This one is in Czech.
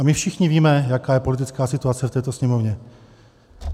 A my všichni víme, jaká je politická situace v této Sněmovně.